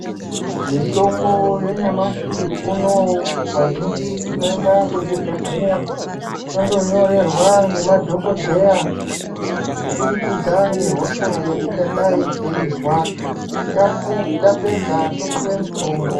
Mitombo yanyamashi unoyu, vazhinji tinoenda kuzvibhedhlera tondonyorerwa ngemadhogodheya kubudikidza ngehosha yetingadai teizwa. Tapedza topuwe mutombo.